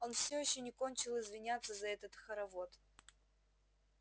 он все ещё не кончил извиняться за этот хоровод